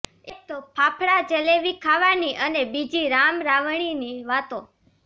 એક તો ફાફાડા જલેવી ખાવાની અને બીજી રામ રાવણીની વાતો